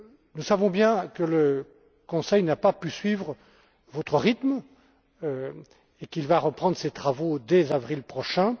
Nous savons bien que le Conseil n'a pas pu suivre votre rythme et qu'il va reprendre ses travaux dès avril prochain.